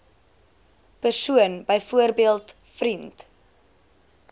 persoon byvoorbeeld vriend